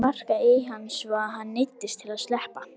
Ég sparkaði í hann svo að hann neyddist til að sleppa.